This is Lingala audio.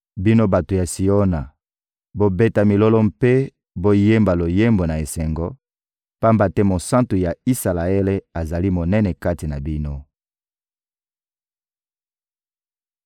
Bino bato ya Siona, bobeta milolo mpe boyemba loyembo na esengo, pamba te Mosantu ya Isalaele azali monene kati na bino!»